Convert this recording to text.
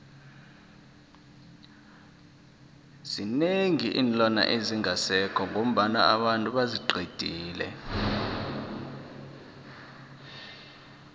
zinengi iinlwana ezingasekho ngoba abantu baziqedile